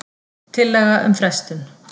Tillaga um frestun.